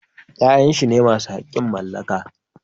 Ya'yan shi ne masu haƙƙin mallaka